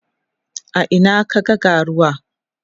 a Ina ka ga ga ruwa?